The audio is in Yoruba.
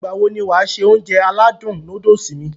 Ìgbàwo ni wàá se Ounjẹ aládùn nóódùsì mi?